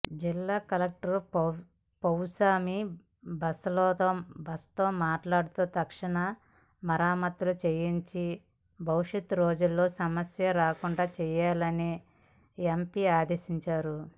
జిల్లా కలెక్టర్ పౌసమిబసుతో మాట్లాడి తక్షణ మరమత్తులు చేయించి భవిష్యత్ రోజుల్లో సమస్య రాకుండా చేయాలని ఎంపీ ఆదేశించారు